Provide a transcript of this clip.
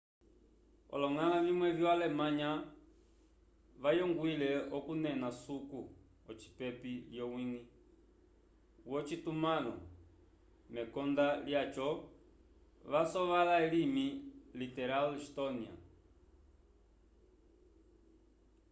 oloñgala vimwe vyo alemnaya vayongwile okunena suku ocipepi l'owiñgi wocitumãlo mekonda lyaco vasovola elimi literal estónia